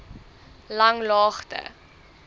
langlaagte